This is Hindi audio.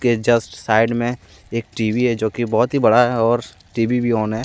जस्ट साइड में एक टी_वी है जो की बहुत ही बड़ा है और टी_वी भी ऑन है।